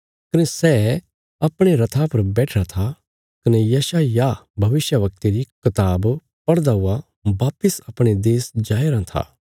कने सै अपणे रथा पर बैठिरा था कने यशायाह भविष्यवक्ता री कताब पढ़दा हुआ वापस अपणे देश जाया राँ था